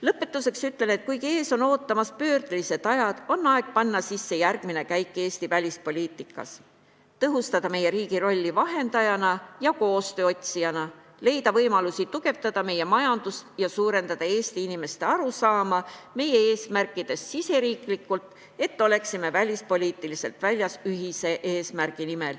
Lõpetuseks ütlen, et kuigi ees on ootamas pöördelised ajad, on aeg panna sisse järgmine käik Eesti välispoliitikas: tõhustada meie riigi rolli vahendajana ja koostöö otsijana, leida võimalusi tugevdada meie majandust ja parandada Eesti inimeste arusaama meie eesmärkidest riigis sees, et me oleksime välispoliitiliselt väljas ühise eesmärgi nimel.